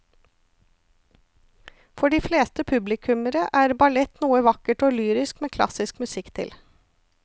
For de fleste publikummere er ballett noe vakkert og lyrisk med klassisk musikk til.